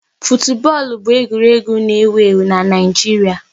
Futubọọlụ bụ egwuregwu n'ewu ewu n'Naijiria